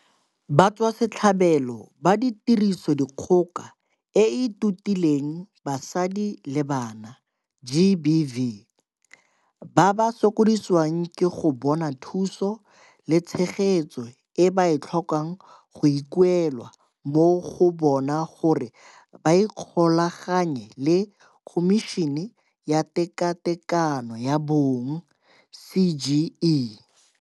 Batswasetlhabelo ba Tirisodikgoka e e Totileng Basadi le Bana, GBV, ba ba sokodisiwang ke go bona thuso le tshegetso e ba e tlhokang go ikuelwa mo go bona gore ba ikgolaganye le Khomišene ya Tekatekano ya Bong, CGE.